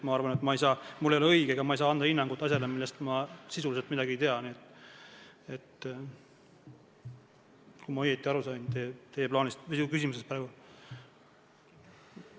Ma arvan, et mul ei ole õige anda ja ma ei saa anda hinnangut asjale, millest ma sisuliselt midagi ei tea, kui ma sain teie küsimusest praegu õigesti aru.